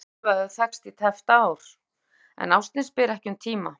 Einar Þór og Eva höfðu þekkst í tæpt ár, en ástin spyr ekki um tíma.